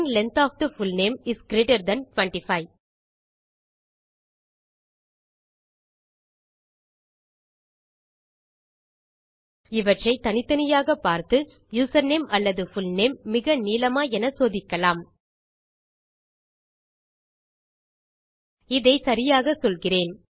string length of the full name is greater than 25 இவற்றை தனித்தனியாக பார்த்து யூசர்நேம் அல்லது புல்நேம் மிக நீளமா என சோதிக்கலாம் இதை சரியாக சொல்கிறேன்